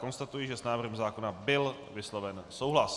Konstatuji, že s návrhem zákona byl vysloven souhlas.